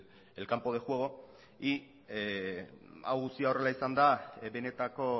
el campo de juego y hau guztia horrela izanda benetako